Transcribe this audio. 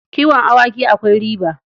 Kiwon awaki akwai riba.